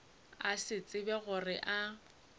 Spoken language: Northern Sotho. a se tsebe gore a